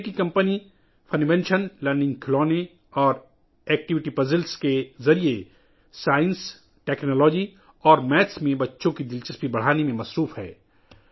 پونے کی company Funvention آموزش ، کھلونے اور ایکٹیویٹی پزل کے ذریعے سائنس، ٹیکنالوجی اور ریاضی میں بچوں کی دلچسپی بڑھانے میں مصروف ہے